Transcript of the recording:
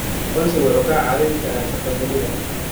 Aqoonsigu wuxuu kaa caawin karaa shaqo helida.